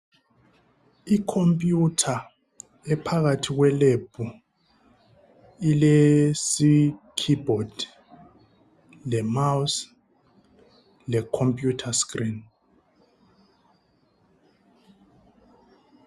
Ikhompiyutha ephakathi kwe"lab" ile "keyboard",le"mouse",le"computer screen".